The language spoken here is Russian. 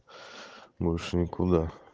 больше никуда